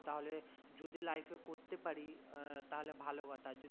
তাহলে যদি life এ করতে পারি তাহলে ভালো কথা